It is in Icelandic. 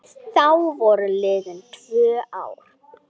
Þá voru liðin tvö ár.